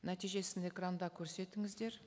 нәтижесін экранда көрсетіңіздер